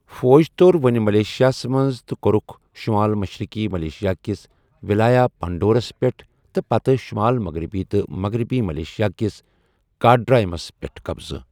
فوج تو٘ر وۄنہِ ملیشِیاہس منز تہٕ کوٚرُکھ شمال مشرقی ملئیشیا كِس ولایہ پانڈوُرس پیٹھ تہٕ پتہٕ شٗمال مغربی تہٕ مغربی ملئیشیا كِس كاڈاریمس پیٹھ قبضہٕ ۔